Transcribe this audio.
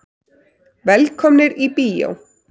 Velkomnir í bíó.